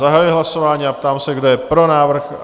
Zahajuji hlasování a ptám se, kdo je pro návrh?